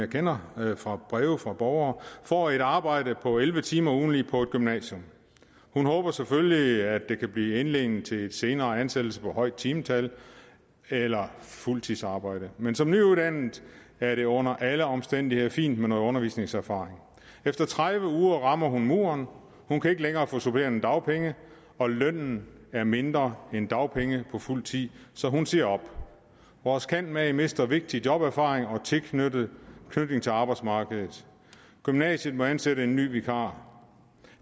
kender fra breve fra borgere får et arbejde på elleve timer ugentligt på et gymnasium hun håber selvfølgelig at det kan blive indledningen til en senere ansættelse på højere timetal eller fuldtidsarbejde men som nyuddannet er det under alle omstændigheder fint med noget undervisningserfaring efter tredive uger rammer hun muren hun kan ikke længere få supplerende dagpenge og lønnen er mindre end dagpenge på fuld tid så hun siger op vores candmag mister vigtig joberfaring og tilknytning til arbejdsmarkedet og gymnasiet må ansætte en ny vikar